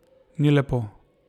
Ni lepo.